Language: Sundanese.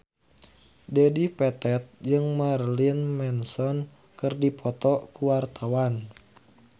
Dedi Petet jeung Marilyn Manson keur dipoto ku wartawan